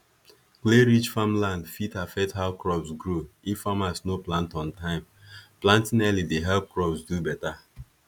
clayrich farmland fit affect how crops grow if farmers no plant on time planting early dey help crops do better